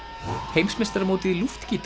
heimsmeistaramótið í